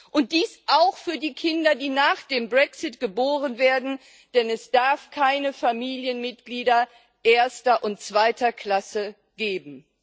Und dies auch für die Kinder, die nach dem Brexit geboren werden, denn es darf keine Familienmitglieder erster und zweiter Klasse geben.